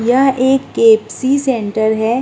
यह एक KFC. Centre हैं।